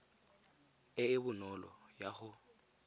e e bonolo ya go